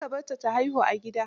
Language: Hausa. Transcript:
Kar ka barta ta haihu a gida.